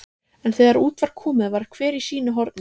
En þegar út var komið var hver í sínu horni.